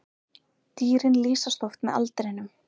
Dýrin lýsast oft með aldrinum.